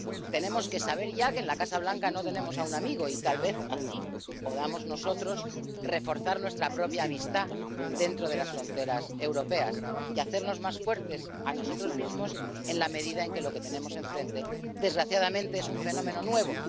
Tenemos que saber ya que en la Casa Blanca no tenemos a un amigo, y tal vez así podamos nosotros reforzar nuestra propia amistad dentro de las fronteras europeas, hacernos más fuertes a nosotros mismos, en la medida en que lo que tenemos enfrente, desgraciadamente, es un fenómeno nuevo.